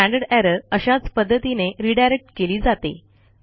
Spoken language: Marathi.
स्टँडर्ड एरर अशाच पध्दतीने रिडायरेक्ट केली जाते